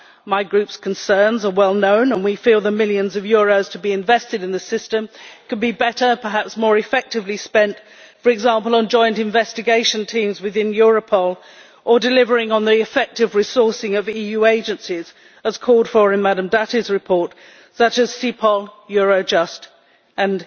My Group's concerns are well known, and we feel that the millions of euros to be invested in the system could be better and more effectively spent, for example, on joint investigation teams within Europol, on delivering on the effective resourcing of EU agencies as called for in Madam Dati's report such as CEPOL, EUROJUST and